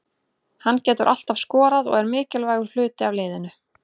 Hann getur alltaf skorað og er mikilvægur hluti af liðinu.